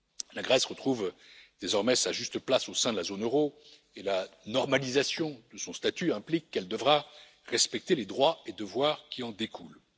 La Grèce retrouve désormais sa juste place au sein de la zone euro et la normalisation de son statut implique qu'elle devra respecter les droits et devoirs qui en découlent.